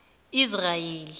israyeli